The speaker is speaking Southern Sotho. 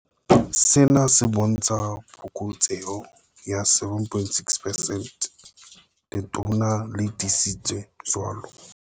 Sena se bontsha phokotseho ya 7.6 percent, Letona le tiisitse jwalo.